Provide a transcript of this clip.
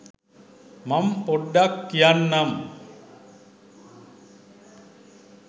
මං පොඩ්ඩක් කියන්නම්.